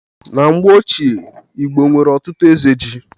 Na mgbe ochie, Igbo nwere ọtụtụ eze ji